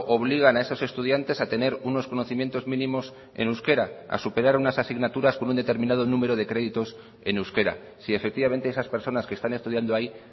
obligan a esos estudiantes a tener unos conocimientos mínimos en euskera a superar unas asignaturas con un determinado número de créditos en euskera si efectivamente esas personas que están estudiando ahí